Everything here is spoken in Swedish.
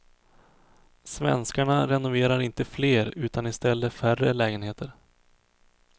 Svenskarna renoverar inte fler, utan i stället färre lägenheter.